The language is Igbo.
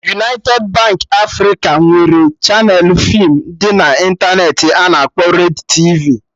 United Baankị Africa nwere chaneelụ feem dị na intaneti a na-akpọ Red tv